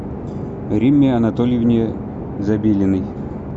римме анатольевне забелиной